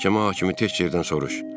Məhkəmə hakimi tək yerdən soruş.